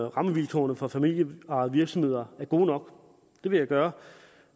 rammevilkårene for familieejede virksomheder er gode nok det vil jeg gøre